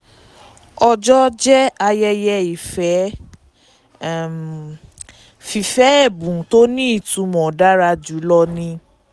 ọjọ́ jẹ́ ayẹyẹ ìfẹ́; um fífẹ́ ẹ̀bùn tó ní itumọ̀ dára jùlọ ni.